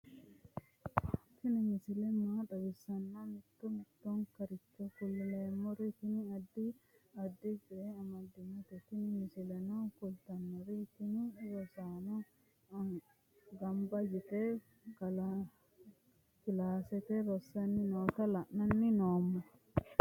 tini misile maa xawissannoro mito mittonkaricho kulummoro tini addi addicoy amaddinote tini misileno kultannori tini rosaanote gamba yite kilaasete rossanni noota la'anni noommo